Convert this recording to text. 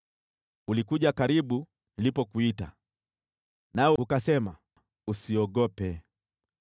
Ulikuja karibu nilipokuita, nawe ukasema, “Usiogope.”